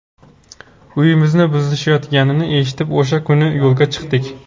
Uyimizni buzishayotganini eshitib, o‘sha kuni yo‘lga chiqdik.